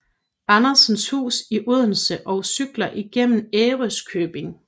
Andersens Hus i Odense og cykler igennem Ærøskøbing